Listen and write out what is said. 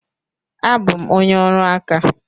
Abụ m onye ọrụ aka.